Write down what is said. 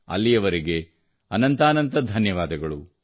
ಅಲ್ಲಿಯವರೆಗೆ ಅನಂತಾನಂತ ಧನ್ಯವಾದಗಳು